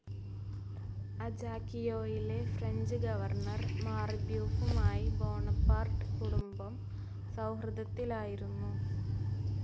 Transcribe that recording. അജാക്കിയോയിലെ French governor മാർബ്യൂഫുമായി Bonaparte കുടുംബം സൗഹൃദത്തിലായിരുന്നു.